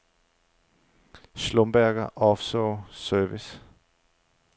Schlumberger Offshore Service